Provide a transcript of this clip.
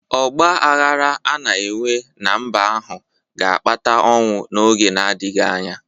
Ọgba aghara a na-enwe ná mba ahụ ga-akpata ọnwụ n’oge na-adịghị anya